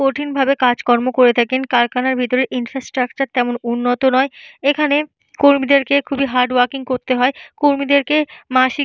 কঠিন ভাবে কাজ কর্ম করে থাকেন। কারখানার ভেতরে ইনফ্রাস্ট্রাকচার তেমন উন্নত নয়। এখানে কর্মীদেরকে খুবই হার্ডওয়ার্কইং করতে হয়। কর্মীদেরকে মাসিক --